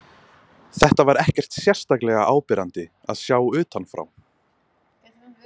Þetta var ekkert sérstaklega áberandi að sjá utanfrá.